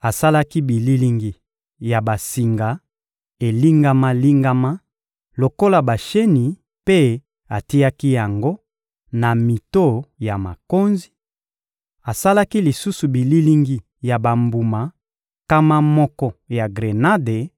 Asalaki bililingi ya basinga elingama-lingama lokola basheni mpe atiaki yango na mito ya makonzi; asalaki lisusu bililingi ya bambuma nkama moko ya grenade,